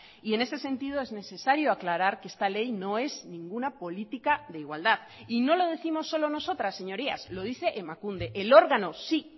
y en ese sentido es necesario aclarar que esta ley no es ninguna política de igualdad y no lo décimos solo nosotras señorías lo dice emakunde el órgano sí